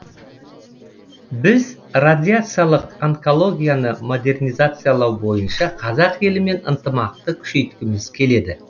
біз радиациялық онкологияны модернизациялау бойынша қазақ елімен ынтымақты күшейткіміз келеді